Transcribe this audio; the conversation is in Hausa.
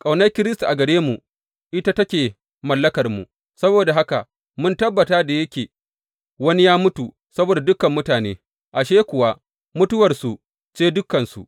Ƙaunar Kiristi a gare mu, ita take mallakarmu, saboda haka mun tabbata, da yake wani ya mutu saboda dukan mutane, ashe kuwa, mutuwarsu ce dukansu.